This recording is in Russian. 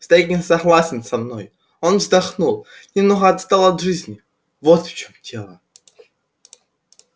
старик не согласен со мной он вздохнул немного отстал от жизни вот в чём дело